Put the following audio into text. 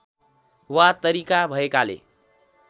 वा तरिका भएकाले